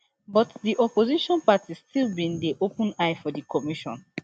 but di opposition party still bin dey open eye for di commission